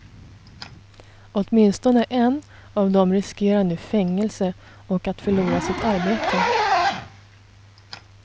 Åtminstone en av dem riskerar nu fängelse och att förlora sitt arbete.